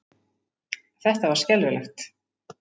Þetta var skelfilegt.